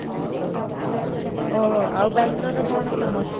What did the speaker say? ଓଃ, ଆଉ ବାଙ୍ଗାଲୋରରେ କ'ଣ famous?